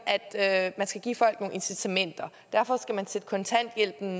at man skal give folk nogle incitamenter og derfor skal man sætte kontanthjælpen